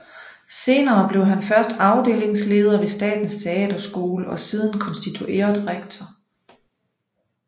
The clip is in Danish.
Senere blev han først afdelingsleder ved Statens Teaterskole og siden konstitueret rektor